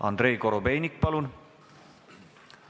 Andrei Korobeinik, palun!